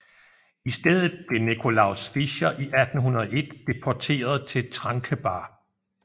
I stedet blev Nicolaus Fischer i 1801 deporteret til Trankebar